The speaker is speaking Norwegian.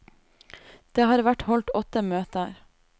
Det har vært holdt åtte møter.